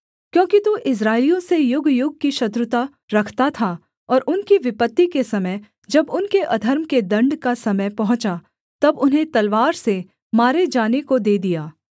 क्योंकि तू इस्राएलियों से युगयुग की शत्रुता रखता था और उनकी विपत्ति के समय जब उनके अधर्म के दण्ड का समय पहुँचा तब उन्हें तलवार से मारे जाने को दे दिया